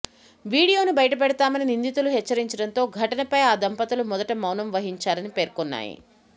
వీడియోను బయటపెడతామని నిందితులు హెచ్చరించడంతో ఘటనపై ఆ దంపతులు మొదట మౌనం వహించారని పేర్కొన్నాయి